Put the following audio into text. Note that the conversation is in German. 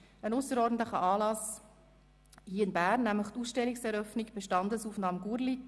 Es handelt sich um einen ausserordentlichen Anlass hier in Bern, nämlich die Eröffnung der Ausstellung «Bestandesaufnahme Gurlitt